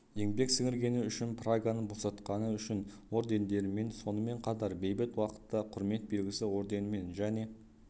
еңбек сіңіргені үшін праганы босатқаны үшін ордендерімен сонымен қатар бейбіт уақытта құрмет белгісі орденімен және